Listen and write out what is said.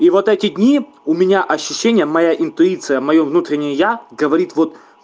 и вот эти дни у меня ощущение моя интуиция моё внутреннее я говорит вот